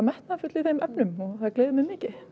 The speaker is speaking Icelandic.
metnaðarfull í þeim efnum og það gleður mig mikið